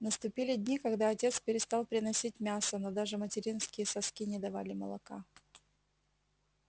наступили дни когда отец перестал приносить мясо но даже материнские соски не давали молока